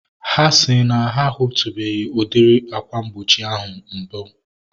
Ha si na ha a hutubeghi udiri akwa mgbochi ahu mbu